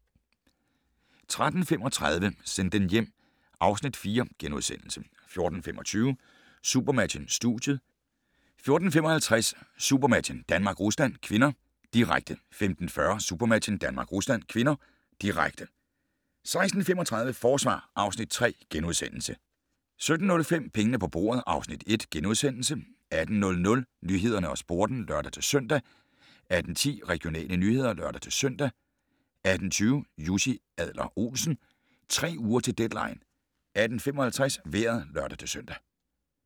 13:35: Send dem hjem (Afs. 4)* 14:25: SuperMatchen: Studiet 14:55: SuperMatchen: Danmark-Rusland (k), direkte 15:40: SuperMatchen: Danmark-Rusland (k), direkte 16:35: Forsvar (Afs. 3)* 17:05: Pengene på bordet (Afs. 1)* 18:00: Nyhederne og Sporten (lør-søn) 18:10: Regionale nyheder (lør-søn) 18:20: Jussi Adler-Olsen: Tre uger til deadline 18:55: Vejret (lør-søn)